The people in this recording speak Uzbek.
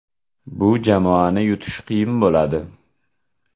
Bu jamoani yutish qiyin bo‘ladi.